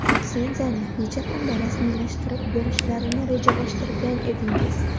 Litsenziyani necha kunda rasmiylashtirib berishlarini rejalashtirgan edingiz?